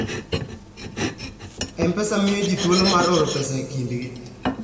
M-Pesa miyo ji thuolo mar oro pesa e kindgi.